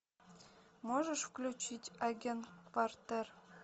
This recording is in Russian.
можешь включить агент партер